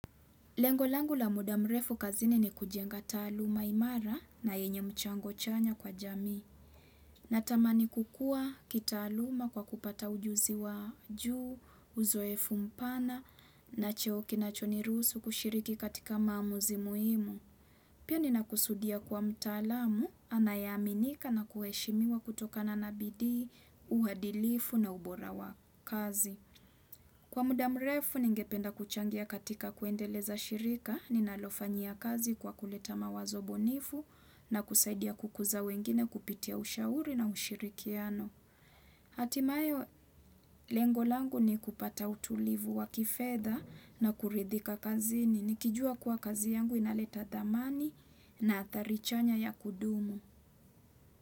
Lengo langu la muda mrefu kazini ni kujenga taaluma imara na yenye mchango chanya kwa jami. Natamani kukua kitaaluma kwa kupata ujuzi wa juu, uzoefu mpana, na cheo kinachoniruhusu kushiriki katika mamuzi muhimu. Pia nina kusudia kuwa mtalamu, anayeaminika na kuheshimiwa kutokana na bidii, uhadilifu na ubora wa kazi. Kwa muda mrefu ningependa kuchangia katika kuendeleza shirika, ninalofanyia kazi kwa kuleta mawazo bunifu na kusaidia kukuza wengine kupitia ushauri na ushirikiano. Hatimaye lengo langu ni kupata utulivu wa kifedha na kuridhika kazini. Nikijua kuwa kazi yangu inaleta dhamani na athari chanya ya kudumu.